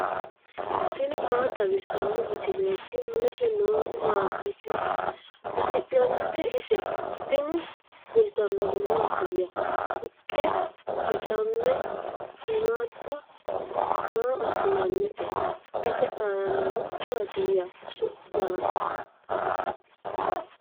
tini maa xawissanno misileeti ? mulese noori maati ? hiissinannite ise ? tini kultannori mattiya? haqqe bocamme shiimmada maa asinannitte? Ise aanna noohu maattiya su'masi?